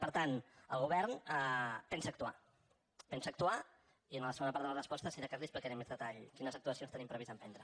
per tant el govern pensa actuar pensa actuar i en la segona part de les respostes si de cas li explicaré amb més detall quines actuacions tenim previst emprendre